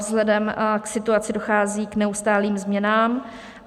Vzhledem k situaci dochází k neustálým změnám.